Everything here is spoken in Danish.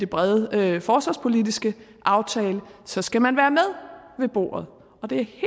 brede forsvarspolitiske aftale så skal man være med ved bordet og det